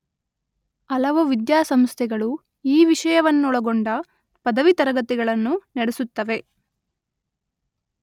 ಹಲವು ವಿದ್ಯಾಸಂಸ್ಥೆಗಳು ಈ ವಿಷಯವನ್ನೊಳಗೊಂಡ ಪದವಿ ತರಗತಿಗಳನ್ನು ನಡೆಸುತ್ತವೆ.